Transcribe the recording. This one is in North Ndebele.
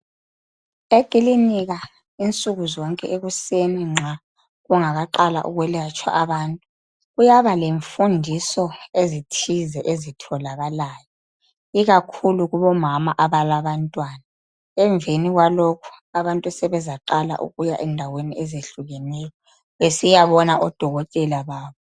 Ekilinika insuku zonke ekuseni nxa kungakaqalwa ukwelatshwa abantu. Kuyaba le mfundiso ezithize ezitholakayo. Ikakhulu kubomama abalabantwana. Emveni kwalokho abantu sebezaqala ukuya endaweni ezehlukeneyo besiyabona odokotela babo.